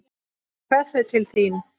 Ég kveð þau til þín.